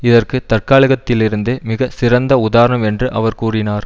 இதற்கு தற்காலகத்திலிருந்து மிக சிறந்த உதாரணம் என்று அவர் கூறினார்